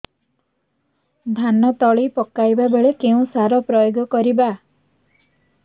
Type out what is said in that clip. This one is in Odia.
ଧାନ ତଳି ପକାଇବା ବେଳେ କେଉଁ ସାର ପ୍ରୟୋଗ କରିବା